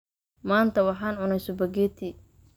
maanta waxaan cunnay spaghetti